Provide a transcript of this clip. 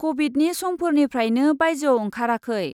कभिदनि समफोरनिफ्रायनो बायजोआव ओंखाराखै।